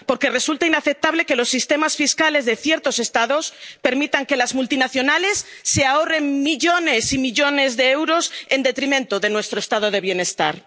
Porque resulta inaceptable que los sistemas fiscales de ciertos Estados permitan que las multinacionales se ahorren millones y millones de euros en detrimento de nuestro Estado del bienestar.